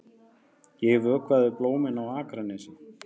Ég vökvaði blómin á Akranesi.